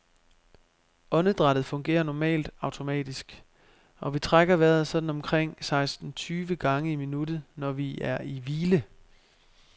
Åndedrættet fungerer normalt automatisk, og vi trækker vejret sådan omkring seksten tyve gange i minuttet, når vi er i hvile.